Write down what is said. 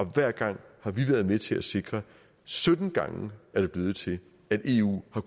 hver gang har vi været med til at sikre sytten gange er det blevet til at eu har